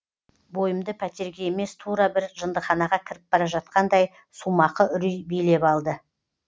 бойымды пәтерге емес тура бір жындыханаға кіріп бара жатқандай сумақы үрей билеп алды